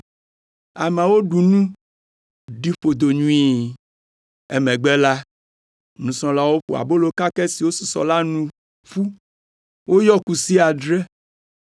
Ameawo ɖu nu, ɖi ƒodo nyuie. Emegbe la, nusrɔ̃lawo ƒo abolo kakɛ siwo susɔ la nu ƒu, woyɔ kusi adre.